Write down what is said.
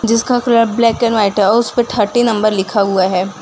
जिसका colour black and white है और उसपे थर्टी नंबर लिखा हुआ है।